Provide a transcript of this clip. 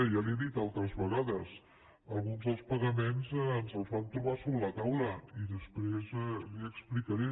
ja li ho he dit altres vegades alguns dels pagaments ens els vam trobar sobre la taula i després li ho explicaré